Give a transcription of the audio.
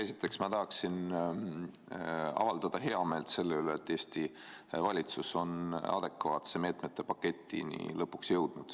Esiteks ma tahaksin avaldada heameelt selle üle, et Eesti valitsus on lõpuks jõudnud adekvaatse meetmete paketini.